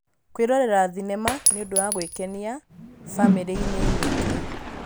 Kwĩrorera thenema nĩ ũndũ wa gwĩkenia bamĩrĩ-inĩ nyingĩ.